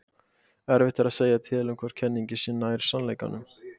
Erfitt er að segja til um hvor kenningin sé nær sannleikanum.